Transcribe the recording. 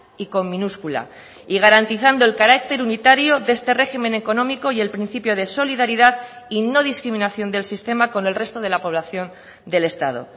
y con minúscula y garantizando el carácter unitario de este régimen económico y el principio de solidaridad y no discriminación del sistema con el resto de la población del estado